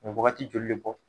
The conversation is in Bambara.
wagati joli le bɔ?